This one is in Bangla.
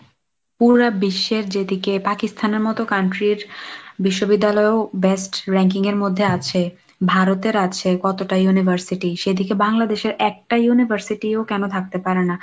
পুরোটা বিশ্বের যেদিকে পাকিস্তানের মতো country র বিশ্ববিদ্যালয়েও best ranking এর মধ্যে আছে, ভারতের আছে কতটা university, সেদিকে বাংলাদেশের একটা university ও কেন থাকতে পারে না?